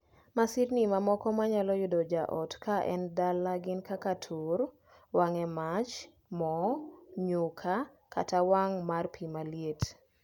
Masirni mamoko ma nyalo yudo jaot ka en dala gin kaka tur, wang' e mach, moo, nyuka, kata wang' mar pii maliet.